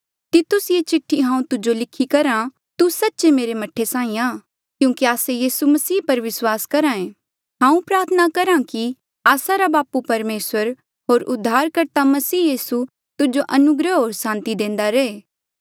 तितुस ये चिठ्ठी हांऊँ तुजो लिखी करहा तू सच्चे मेरे मह्ठे साहीं आ क्यूंकि आस्से यीसू मसीह पर विस्वास करहे हांऊँ प्रार्थना करहा कि आस्सा रा बापू परमेसर होर उद्धारकर्ता मसीह यीसू तुजो अनुग्रह होर सांति देंदा रहे